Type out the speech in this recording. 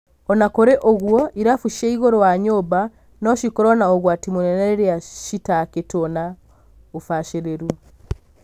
Ona kurĩ ũguo, irabu cia igũrũ wa nyũmba no cikorwo na ũgwati mũnene rĩrĩa citakĩtwo na ũbacĩrĩru.